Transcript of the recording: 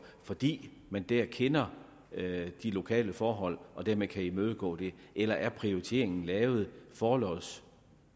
fordi man der kender de lokale forhold og dermed kan imødegå det eller er prioriteringen lavet forlods